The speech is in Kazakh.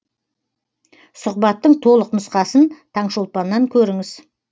сұхбаттың толық нұсқасын таңшолпаннан көріңіз